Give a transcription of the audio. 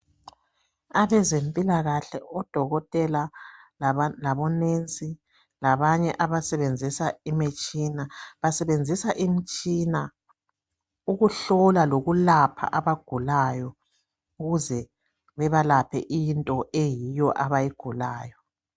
Abezempilakahle odokotela labonesi labanye abasebenzisa imitshina. Basebenzisa imitshina ukuhlola lokulapha abagulayo ukuze bebalaphe into eyiyo obayigulayo.